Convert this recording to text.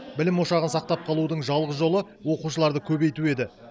білім ошағын сақтап қалудың жалғыз жолы оқушыларды көбейту еді